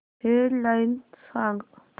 head lines सांग